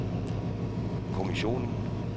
kommissionen